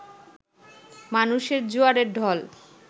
মানুষের জোয়ারের ঢল